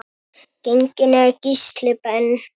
Genginn er Gísli Ben.